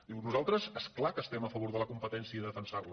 diu nosaltres és clar que estem a favor de la competència i de defen·sar·la